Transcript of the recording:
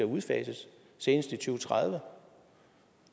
udfases senest i to tredive